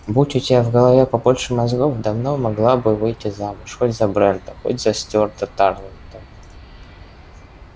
будь у тебя в голове побольше мозгов давно могла бы выйти замуж хоть за брента хоть за стюарта тарлтона